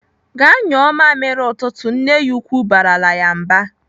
"Gaa nyụọ mamịrị ụtụtụ!" Nne ya ukwu barala ya mba.